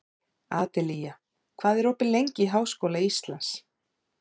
Adelía, hvað er opið lengi í Háskóla Íslands?